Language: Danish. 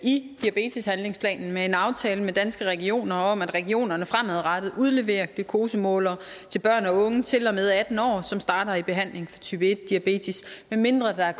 i diabeteshandlingsplanen med en aftale med danske regioner om at regionerne fremadrettet udleverer glukosemålere til børn og unge til og med atten år som starter i behandling for type en diabetes medmindre der